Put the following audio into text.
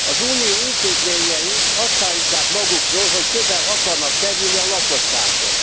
Az Unió intézményei azt állítják magukról, hogy közel akarnak kerülni a lakossághoz.